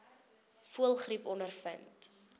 voëlgriep ondervind